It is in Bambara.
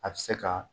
A bɛ se ka